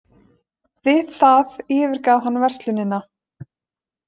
Við það yfirgaf hann verslunina